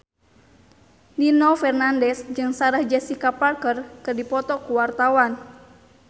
Nino Fernandez jeung Sarah Jessica Parker keur dipoto ku wartawan